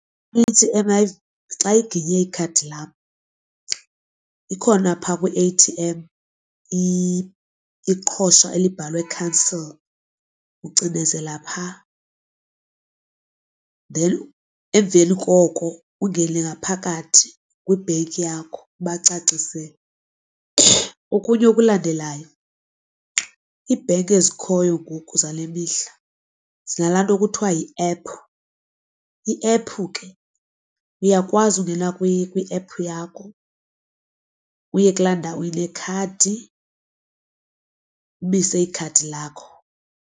Xa iginye ikhadi lakho ikhona pha kwi-A_T_M iqhosha elibhalwe cancel, ucinezela pha then emveni koko ungene ngaphakathi kwibhenki yakho ubacacisele. Okunye okulandelayo ibhenki ezikhoyo ngoku zale mihla zinalaa nto kuthiwa yiephu. Iephu ke uyakwazi ungena kwiephu yakho uye kula ndawo inekhadi umise ikhadi lakho.